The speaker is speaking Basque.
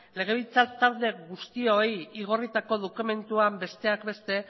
legebiltzar talde guztioi igorritako dokumentuan besteak beste